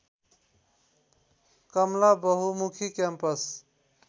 Kamala Bahumukhi campus